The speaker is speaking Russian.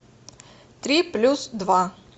три плюс два